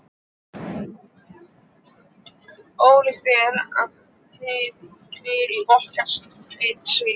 Ólíkt er það og í okkar sveit segðu.